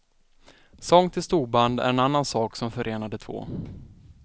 Sång till storband är en annan sak som förenar de två.